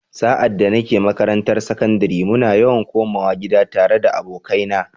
Sa’ad da nake makarantar sakandare, muna yawan komawa gida tare da abokaina.